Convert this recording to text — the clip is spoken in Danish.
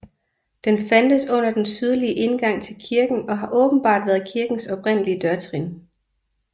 Den fandtes under den sydlige indgang til kirken og har åbenbart været kirkens oprindelige dørtrin